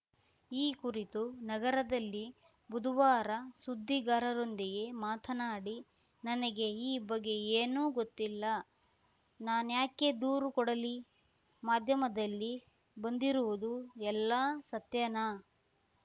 ಈ ಕುರಿತು ನಗರದಲ್ಲಿ ಬುಧವಾರ ಸುದ್ದಿಗಾರರೊಂದಿಗೆ ಮಾತನಾಡಿ ನನಗೆ ಈ ಬಗ್ಗೆ ಏನೂ ಗೊತ್ತಿಲ್ಲ ನಾನ್ಯಾಕೆ ದೂರು ಕೊಡಲಿ ಮಾಧ್ಯಮದಲ್ಲಿ ಬಂದಿರುವುದು ಎಲ್ಲಾ ಸತ್ಯಾನಾ